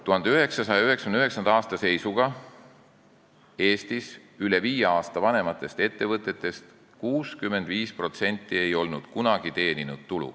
1999. aasta seisuga ei olnud Eestis 65% üle viie aasta vanustest ettevõtetest kunagi tulu teeninud.